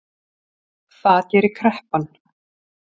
Það gerir kreppan